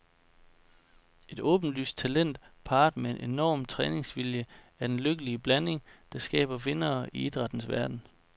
Et åbenlyst talent parret med en enorm træningsvilje er den lykkelige blanding, der skaber vindere i idrættens verden.